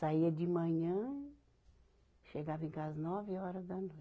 Saía de manhã, chegava em casa nove horas da noite.